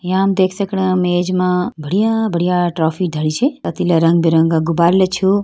या हम देख सकणा मेज मा बढ़िया बढ़िया ट्रॉफी धरी छे अतिला रंग बिरंगा गुब्बारा ल छो।